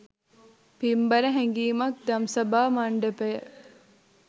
පින්බර හැඟීමක් දම්සභා මණ්ඩපය